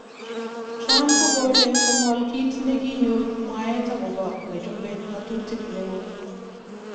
Trump kokole ko'ngol kit nekinyor mwaet okobo nechope ngotutik neo